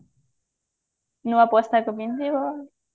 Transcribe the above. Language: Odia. ନୂଆ ପୋଷାକ ପିନ୍ଧିବ